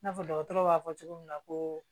N'a fɔ dɔgɔtɔrɔ b'a fɔ cogo min na koo